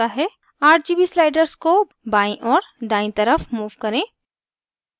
rgb sliders को बायीं और दायीं तरफ move करें